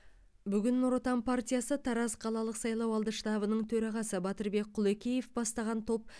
бүгін нұр отан партиясы тараз қалалық сайлауалды штабының төрағасы батырбек құлекеев бастаған топ